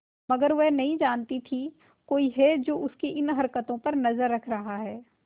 मगर वह नहीं जानती थी कोई है जो उसकी इन हरकतों पर नजर रख रहा है